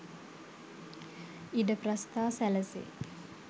ඉඩ ප්‍රස්ථා සැලසේ.